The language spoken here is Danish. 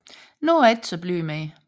Nu er jeg ikke saa blyg mere